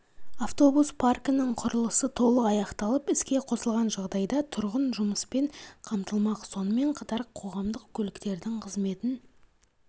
автобус паркінің құрылысы толық аяқталып іске қосылған жағдайда тұрғын жұмыспен қамтылмақ сонымен қатар қоғамдық көліктердің қызметін